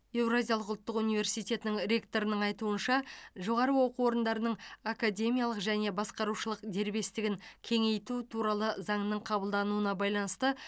еуразиялық ұлттық университетінің ректорының айтуынша жоғары оқу орындарының академиялық және басқарушылық дербестігін кеңейту туралы заңның қабылдануына байланысты